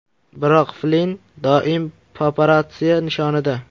Biroq Flinn doim paparatsiya nishonida.